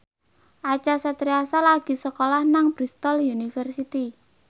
Acha Septriasa lagi sekolah nang Bristol university